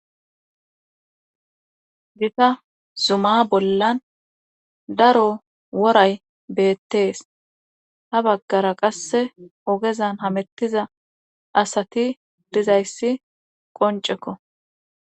Gita zuma bollan daro woray beettees ha baggara qasse ogezan hamettiza asati dizayssi qoncekko.